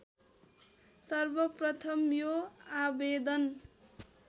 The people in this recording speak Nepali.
सर्वप्रथम यो आवेदन